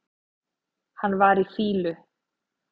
Hann var í fýlu.